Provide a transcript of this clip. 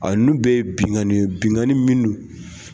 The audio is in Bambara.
A ninnu bɛɛ ye binnkanniw ye binnkanni minnu